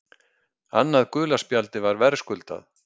Annað gula spjaldið var verðskuldað.